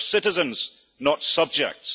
We are citizens, not subjects.